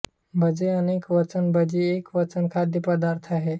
भजे अनेक वचन भजी हा एक खाद्यपदार्थ आहे